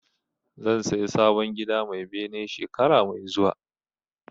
Zan saya sabon gida mai bene shekara mai zuwa